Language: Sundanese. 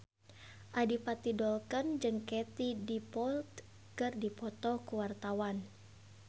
Adipati Dolken jeung Katie Dippold keur dipoto ku wartawan